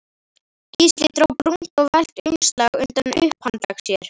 Gísli dró brúnt og velkt umslag undan upphandlegg sér.